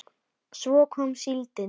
Svo kom síldin.